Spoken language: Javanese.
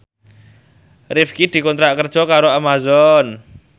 Rifqi dikontrak kerja karo Amazon